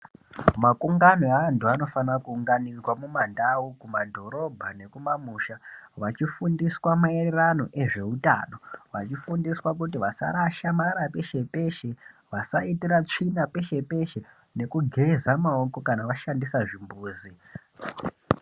Makungano eandu anofana kuunganidzwa kumandau kumadhorobha nekumamusha vachifundiswa maererano ngezveutano , vachifundiswa kuti vasarasha marara peshe peshe , basaitira tsvina peshe peshe nekugeza maoko kana vashandisa zvimbuzi.